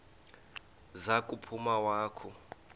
za kuphuma wakhu